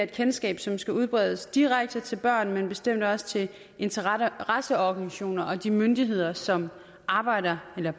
kendskab som skal udbredes direkte til børn men bestemt også til interesseorganisationer og de myndigheder som arbejder eller